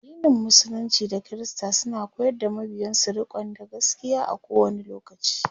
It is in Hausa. addinin musulunci da kirista suna koyar da mabiyansu rikonda gaskia a kowani lokaci